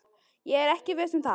Ég er ekki viss um það.